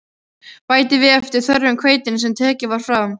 Bætið við eftir þörfum hveitinu sem tekið var frá.